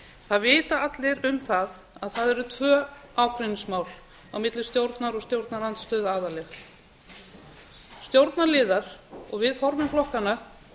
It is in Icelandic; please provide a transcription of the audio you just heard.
það vita allir um það að það eru tvö ágreiningsmál á milli stjórnar og stjórnarandstöðu aðallega stjórnarliðar og við formenn flokkanna